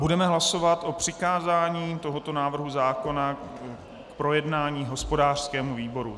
Budeme hlasovat o přikázání tohoto návrhu zákona k projednání hospodářskému výboru.